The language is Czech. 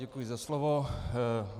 Děkuji za slovo.